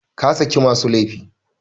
Ka saki masu laifi!